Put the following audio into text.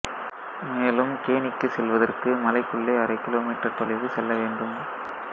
மேலும் கேணிக்கு செல்வதற்கு மலைக்குள்ளே அரை கிமீ தொலைவு செல்ல வேண்டும்